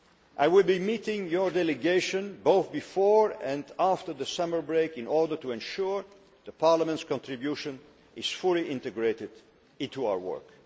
I will be meeting your delegation before and again after the summer break in order to ensure Parliament's contribution is fully integrated into our work.